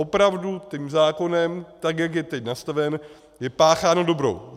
Opravdu tím zákonem, tak jak je teď nastaven, je pácháno dobro.